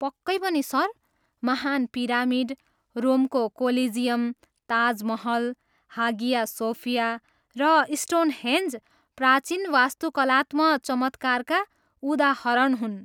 पक्कै पनि, सर! महान् pyramid, रोमको collegium, Taj Mahal, Hagia Sophia र स्टोनहेन्ज प्राचीन वास्तुकलात्म चमत्कारका उदाहरण हुन्।